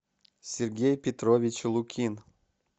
сергей петрович лукин